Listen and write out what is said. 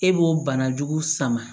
E b'o bana jugu sama